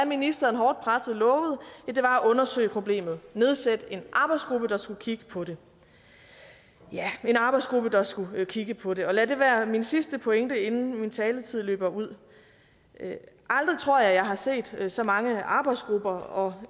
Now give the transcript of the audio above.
ministeren hårdt presset lovede var at undersøge problemet nedsætte en arbejdsgruppe der skulle kigge på det ja en arbejdsgruppe der skulle kigge på det og lad det være min sidste pointe inden min taletid løber ud aldrig tror jeg har set så mange arbejdsgrupper og